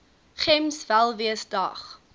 gems welwees dag